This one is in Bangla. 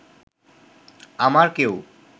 আমার কেউ